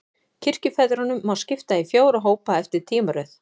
Kirkjufeðrunum má skipta í fjóra hópa, eftir tímaröð.